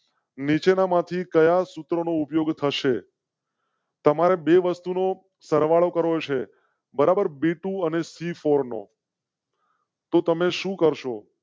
નીચે ના માંથી કયાં સૂત્રો નો ઉપયોગ થશે? તમારે બે વસ્તુ નો સર વાળો કરો. સે બરાબર બાય તું અને સી ફોરનો તો તમે શું કરશો?